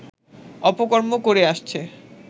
অপকর্ম করে আসছে